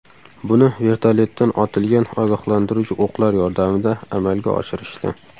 Buni vertolyotdan otilgan ogohlantiruvchi o‘qlar yordamida amalga oshirishdi.